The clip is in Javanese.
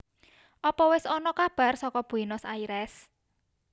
Opo wes ono kabar soko Buenos Aires?